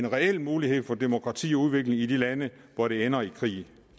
reel mulighed for demokrati og udvikling i de lande hvor det ender i krig